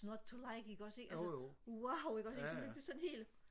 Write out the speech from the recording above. not to like ikke også ikke altså wow ikke også ikke sådan lige pludselig sådan helt